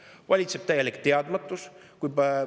Valitseb täielik teadmatus!